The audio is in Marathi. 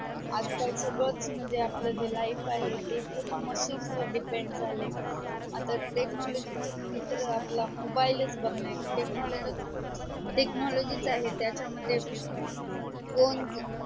आज काल सगडचं म्हणजे जे आपले life आहे ते पूर्ण machine वर depend जाले आता technology मानलं तर तर mobile बग ना technology आहे त्याच्या मध्ये